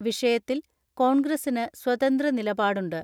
വിഷയത്തിൽ കോൺഗ്രസിന് സ്വതന്ത്ര നിലപാടുണ്ട്.